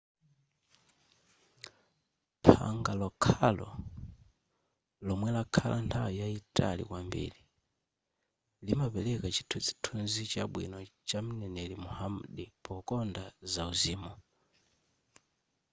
phanga lokhalo lomwe lakhala nthawi yayitali kwambiri limapereka chithunzithunzi chabwino chamneneri muhammad pokonda zauzimi